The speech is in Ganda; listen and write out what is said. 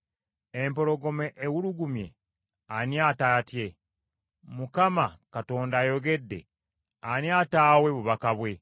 Empologoma ewulugumye, ani ataatye? Mukama Katonda ayogedde ani ataawe bubaka bwe?